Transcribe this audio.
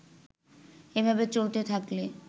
এভাবে চলতে থাকলে